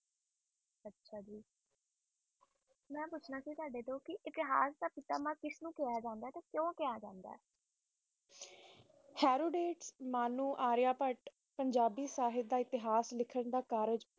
ਮੇਂ ਪੁੱਛਣਾ ਸੀ ਤੁਵੱਡੇ ਕੋਲ ਕ ਇਤਿਹਾਸ ਦਾ ਪਿਛਟਾਚਾਰ ਕਿਸਨੂੰ ਕਹਿਆ ਜਾਂਦਾ ਹੈ ਓਰ ਕਿਉ